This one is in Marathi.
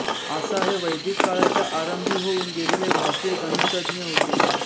आसा हे वैदिक काळाच्या आरंभी होऊन गेलेले भारतीय गणितज्ञ होते